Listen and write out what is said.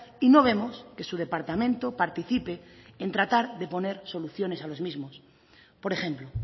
y no vemos que su departamento participe en tratar de poner soluciones a los mismos por ejemplo